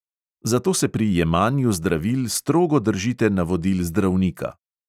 Zato se pri jemanju zdravil strogo držite navodil zdravnika.